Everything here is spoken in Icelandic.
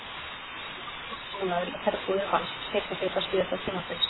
Hann var þó lánaður í herbúðir Vals seinni hluta síðasta tímabils.